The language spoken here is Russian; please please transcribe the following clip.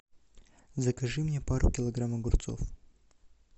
закажи мне пару килограмм огурцов